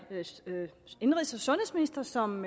indenrigs og sundhedsminister som